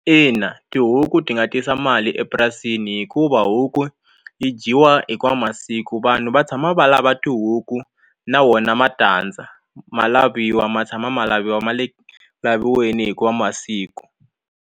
Ina tihuku ti nga tisa mali epurasini hikuva huku yi dyiwa hinkwawu masiku vanhu va tshama va lava tihuku na wona matandza ma laviwa ma tshama ma laviwa ma le ku laviweni hinkwawo masiku.